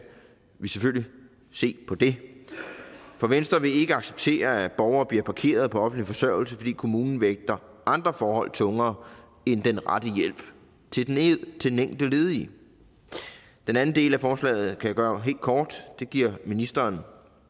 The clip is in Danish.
vi selvfølgelig se på det for venstre vil ikke acceptere at borgere bliver parkeret på offentlig forsørgelse fordi kommunen vægter andre forhold tungere end den rette hjælp til den enkelte ledige den anden del af forslaget kan jeg gøre helt kort det giver ministeren